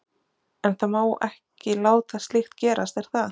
En það má ekki láta slíkt gerast er það?